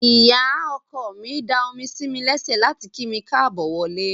Ìyá ọkọ mi da omi sí mi lẹ́sẹ̀ láti kí mi káàbọ̀ wọlé.